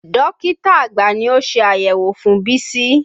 Dókítà àgbà ni ó ṣe àyẹ̀wò fún Bísí.